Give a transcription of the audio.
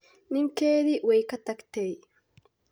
Ninkeedii way ka tagtay.